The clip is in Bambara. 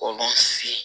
K'olu sigi